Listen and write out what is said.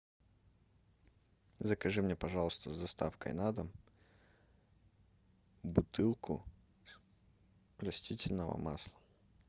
закажи мне пожалуйста с доставкой на дом бутылку растительного масла